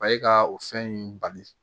A ye ka o fɛn in bali